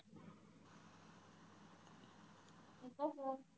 इथंच आहे.